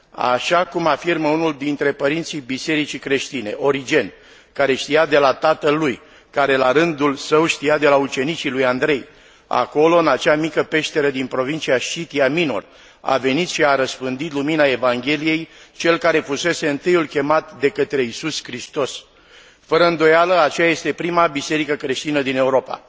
Așa cum afirmă unul dintre părinții bisericii creștine, Origen, care știa de la tatăl lui care, la rândul său, știa de la ucenicii lui Andrei, acolo, în acea mică peșteră din provincia Sciția Minor a venit și a răspândit lumina Evangheliei cel care fusese întâiul chemat de către Iisus Hristos. Fără îndoială, aceea este prima biserică creștină din Europa.